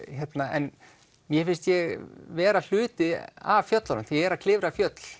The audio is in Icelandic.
en mér finnst ég vera hluti af fjöllunum þegar ég er að klifra fjöll